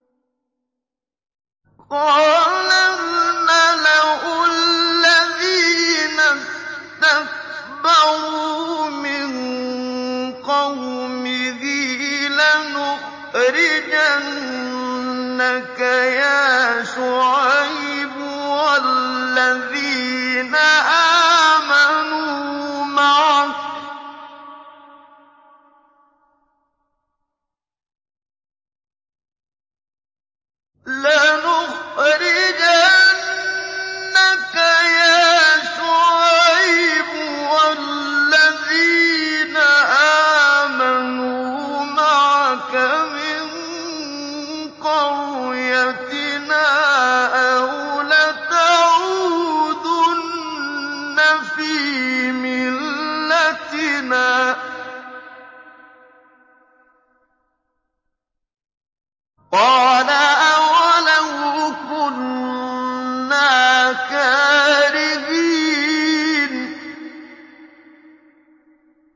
۞ قَالَ الْمَلَأُ الَّذِينَ اسْتَكْبَرُوا مِن قَوْمِهِ لَنُخْرِجَنَّكَ يَا شُعَيْبُ وَالَّذِينَ آمَنُوا مَعَكَ مِن قَرْيَتِنَا أَوْ لَتَعُودُنَّ فِي مِلَّتِنَا ۚ قَالَ أَوَلَوْ كُنَّا كَارِهِينَ